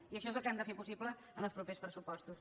i això és el que hem de fer possible en els propers pressupostos